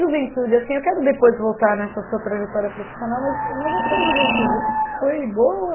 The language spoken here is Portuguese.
Juventude, assim, eu quero depois voltar nessa sua trajetória profissional, mas a mas a sua juventude foi boa?